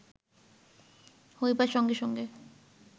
হইবার সঙ্গে সঙ্গে